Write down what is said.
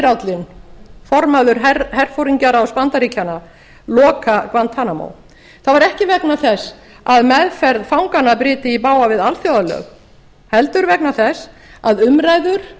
aðmírállinn formaður herforingjaráðs bandaríkjanna loka guantanamo það var ekki vegna þess að meðferð fanganna bryti í bága við alþjóðalög heldur vegna þess að umræður